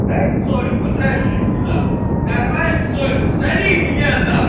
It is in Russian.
дай соли хоть раз жизни нахуй нормальной соли зови меня нахуй